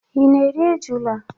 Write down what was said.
Ị na-eri ejula?